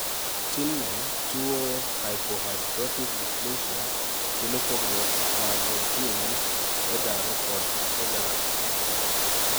tinne, yuo hypohidrotic dysplacia kelo pogruok mag jin EDAR kod ADARADD